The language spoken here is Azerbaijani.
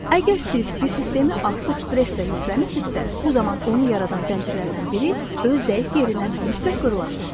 Əgər siz bir sistemi artıq stresslə yükləmisizsə, bu zaman onu yaradan zəncirlərdən biri öz zəif yerindən mütləq qırılacaq.